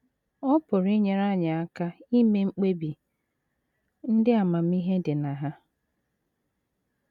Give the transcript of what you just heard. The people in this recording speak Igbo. Ọ pụrụ inyere anyị aka ime mkpebi ndị amamihe dị na ha.